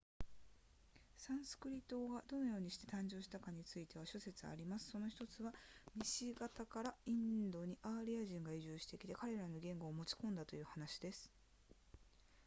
サンスクリット語がどのようにして誕生したかについては諸説ありますその1つは西方からインドにアーリア人が移住してきて彼らの言語を持ち込んだという説です